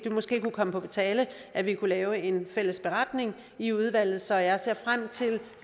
måske kunne komme på tale at vi kunne lave en fælles beretning i udvalget så jeg ser frem til